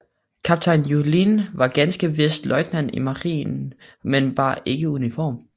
Kaptajn Juhlin var ganske vist løjtnant i marinen men bar ikke uniform